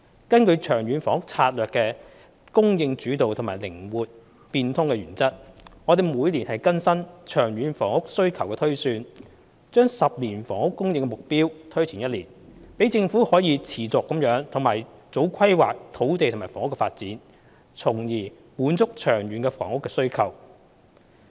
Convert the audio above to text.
根據《長遠房屋策略》的"供應主導"和"靈活變通"原則，我們每年更新長遠房屋需求推算，將10年房屋供應目標推前1年，讓政府可持續地及早規劃土地及房屋的發展，從而滿足長遠的房屋需求。